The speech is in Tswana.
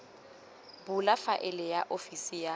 bula faele ya ofisi ya